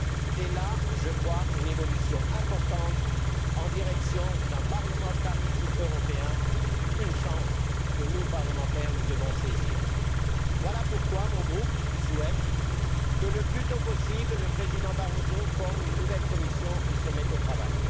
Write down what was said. C'est là, je crois, une évolution importante en direction d'un parlementarisme européen, une chance que nous, parlementaires, nous devons saisir. Voilà pourquoi mon groupe souhaite que le président Barroso forme, le plus tôt possible, une nouvelle Commission et se mette au travail.